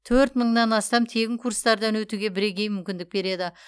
төрт мыңнан астам тегін курстардан өтуге бірегей мүмкіндік береді